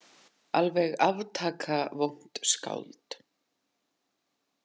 Alveg aftaka vont skáld.